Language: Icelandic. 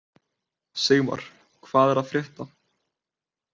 Sigmar, hvað er að frétta?